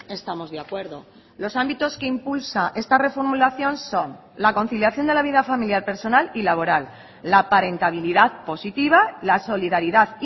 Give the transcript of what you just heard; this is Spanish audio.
estamos de acuerdo los ámbitos que impulsa esta reformulación son la conciliación de la vida familiar personal y laboral la parentabilidad positiva la solidaridad